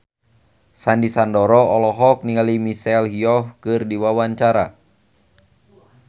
Sandy Sandoro olohok ningali Michelle Yeoh keur diwawancara